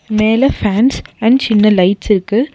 மேல fans and சின்ன lights இருக்கு.